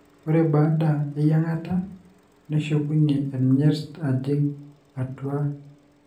ore baada eyiangata, neshukunyie enyirt ajing atua ilala.